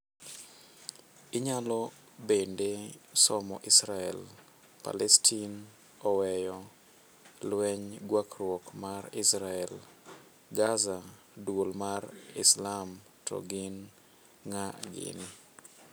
Inyalo bende somo Israel, Palestin oweyo lweny Gwarruok mar Israel, Gaza: Duol mar Islam to gin ng'a gini?